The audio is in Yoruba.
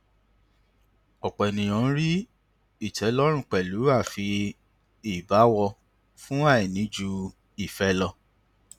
ọpọ ènìyàn ń rí ìtẹlọrun pẹlú fi ìbáwọ fún àìní ju ìfẹ lọ